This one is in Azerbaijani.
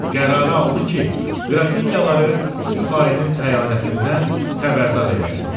Qərarı aldı ki, Qrafiniyaları bu xainin xəyanətindən xəbərdar eləsin.